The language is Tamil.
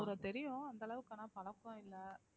அவரை தெரியும் அந்த அளவுக்கு ஆனா பழக்கம் இல்லை